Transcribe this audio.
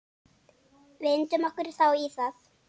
Vindum okkur þá í það.